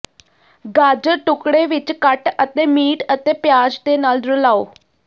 ਗਾਜਰ ਟੁਕੜੇ ਵਿੱਚ ਕੱਟ ਅਤੇ ਮੀਟ ਅਤੇ ਪਿਆਜ਼ ਦੇ ਨਾਲ ਰਲਾਉ